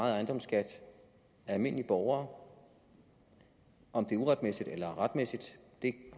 ejendomsskat af almindelige borgere om det er uretmæssigt eller retmæssigt